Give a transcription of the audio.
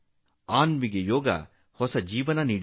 ಅನ್ವಿಗೆ ಯೋಗ ಹೊಸ ಜೀವನ ನೀಡಿದೆ